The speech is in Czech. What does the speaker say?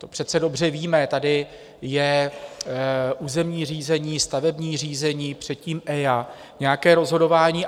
To přece dobře víme, tady je územní řízení, stavební řízení, předtím EIA, nějaké rozhodování.